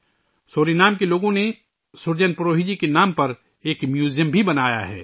Suriname کے لوگوں نے سرجن پروہی جی کے نام پر ایک میوزیم بھی بنایا ہے